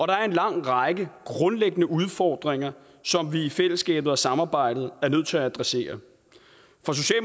der er en lang række grundlæggende udfordringer som vi i fællesskabet og samarbejdet er nødt til at adressere